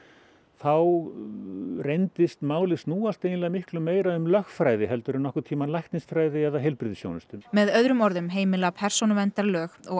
þá reyndist málið snúast miklu meira um lögfræði heldur en nokkurn tímann læknisfræði eða heilbrigðisþjónustu með öðrum orðum heimila persónuverndarlög og